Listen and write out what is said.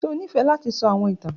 Ṣe o nifẹ lati sọ awọn itan?